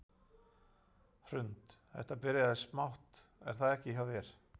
Hrund: Þetta byrjaði smátt er það ekki hjá þér?